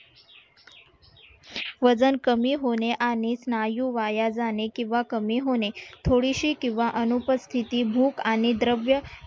वजन कमी होणे आणि स्नायू वाया जाणे किंवा कमी होणे थोडीशी किंवा अनुपस्थिती भूक आणि द्रव्य